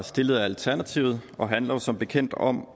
stillet af alternativet og handler som bekendt om